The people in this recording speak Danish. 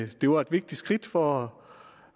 det var et vigtigt skridt for